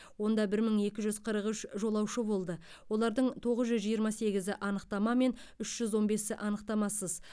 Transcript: онда бір мың екі жүз қырық үш жолаушы болды олардың тоғыз жүз жиырма сегізі анықтамамен үш жүз он бесі анықтамасыз